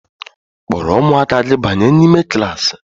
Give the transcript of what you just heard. Kpọrọ ụmụaka gị banye n'ime klaasị!